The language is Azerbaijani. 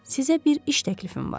Sizə bir iş təklifim var.